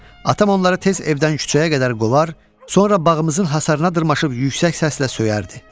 atam onları tez evdən küçəyə qədər qovar, sonra bağımızın hasarına dırmaşıb yüksək səslə söyərdi.